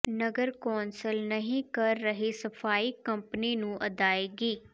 ਨਗਰ ਕੌ ਾਸਲ ਨਹੀਂ ਕਰ ਰਹੀ ਸਫ਼ਾਈ ਕੰਪਨੀ ਨੂੰ ਅਦਾਇਗੀ